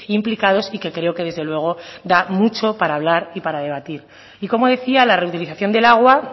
implicados y que creo que desde luego da mucho para hablar y para debatir y como decía la reutilización del agua